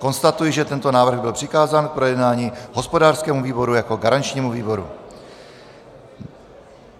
Konstatuji, že tento návrh byl přikázán k projednání hospodářskému výboru jako garančnímu výboru.